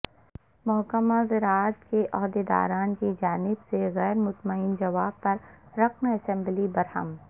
محکمہ زراعت کے عہدیداران کی جانب سے غیر مطمئن جواب پر رکن اسمبلی برہم